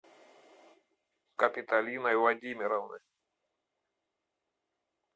капитолиной владимировной